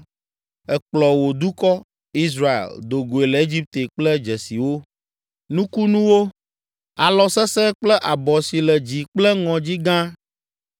Èkplɔ wò dukɔ, Israel, do goe le Egipte kple dzesiwo, nukunuwo, alɔ sesẽ kple abɔ si le dzi kple ŋɔdzi gã.